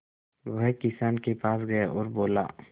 वह किसान के पास गया और बोला